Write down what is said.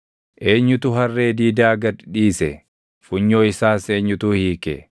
“Eenyutu harree diidaa gad dhiise? Funyoo isaas eenyutu hiike?